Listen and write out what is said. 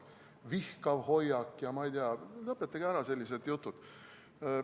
Vihkav hoiak – lõpetage ära sellised jutud.